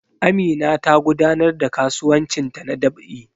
Amina tana gudanar da kasuwancinta na dab'i